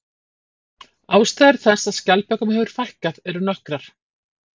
Ástæður þess að skjaldbökum hefur fækkað eru nokkrar.